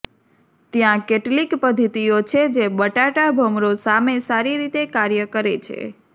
ત્યાં કેટલીક પદ્ધતિઓ છે જે બટાટા ભમરો સામે સારી રીતે કાર્ય કરે છે